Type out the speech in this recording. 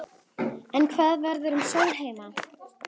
En hvað verður um Sólheima?